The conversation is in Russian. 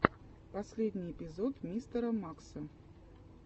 последний эпизод мистера макса